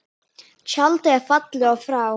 Tjaldið er fallið og frá.